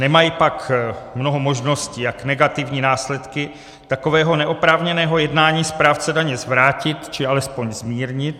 Nemají pak mnoho možností, jak negativní následky takového neoprávněného jednání správce daně zvrátit, či alespoň zmírnit.